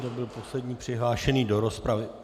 To byl poslední přihlášený do rozpravy.